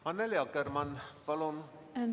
Annely Akkermann, palun!